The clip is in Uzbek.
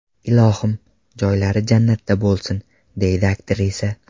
Ilohim, joylari jannatdan bo‘lsin!”, deydi aktrisa.